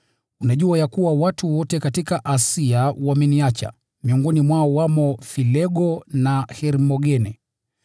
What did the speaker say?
Unajua ya kuwa watu wote katika Asia wameniacha, miongoni mwao wamo Filego na Hermogene.